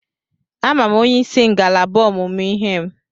Ama m onyeisi ngalaba ọmụmụ ihe m.